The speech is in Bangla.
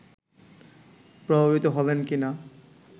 প্রভাবিত হলেন কি না